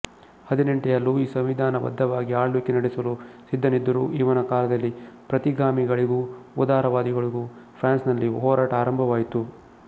ಹದಿನೆಂಟನೆಯ ಲೂಯಿ ಸಂವಿಧಾನ ಬದ್ಧವಾಗಿ ಆಳ್ವಿಕೆ ನಡೆಸಲು ಸಿದ್ಧನಿದ್ದರೂ ಇವನ ಕಾಲದಲ್ಲಿ ಪ್ರತಿಗಾಮಿಗಳಿಗೂ ಉದಾರ ವಾದಿಗಳಿಗೂ ಫ್ರಾನ್ಸಿನಲ್ಲಿ ಹೋರಾಟ ಆರಂಭವಾಯಿತು